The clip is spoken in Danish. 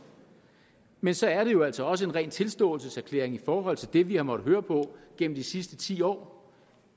men så er det jo altså også en ren tilståelseserklæring i forhold til det vi har måttet høre på gennem de sidste ti år